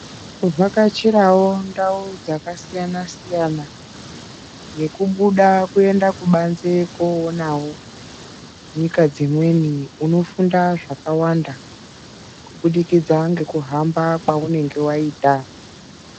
Kuvhakachirawo ndau dzakasiyana siyana nekubuda kuenda kubanze koonawo nyika dzimweni uno funda zvakawanda kubudikidza nekuhamba kwaunenge waita.